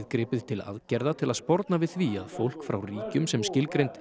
gripið til aðgerða til að sporna við því að fólk frá ríkjum sem skilgreind